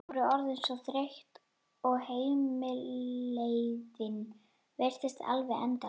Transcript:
Þau voru orðin svo þreytt og heimleiðin virtist alveg endalaus.